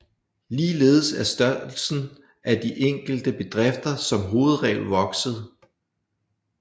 Ligeledes er størrelsen af de enkelte bedrifter som hovedregel vokset